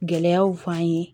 Gɛlɛyaw f'an ye